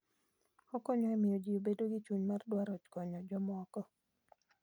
Okonyo e miyo ji obed gi chuny mar dwaro konyo jomoko.